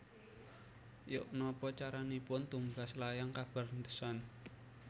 Yok nopo caranipun tumbas layang kabar The Sun